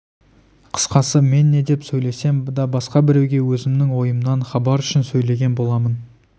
қысқасы мен не деп сөйлесем де басқа біреуге өзімнің ойымнан хабар үшін сөйлеген болам